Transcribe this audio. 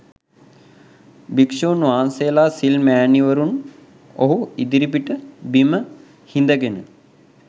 භික්ෂූන් වහන්සේලා සිල් මැණිවරුන් ඔහු ඉදිරිපිට බිම හිඳගෙන